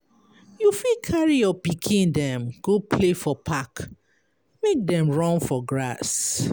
You fit carry your pikin dem go play for park, make dem run for grass.